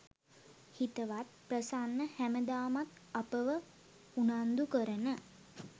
හිතවත් ප්‍රසන්න හැමදාමත් අපව උනන්දුකරන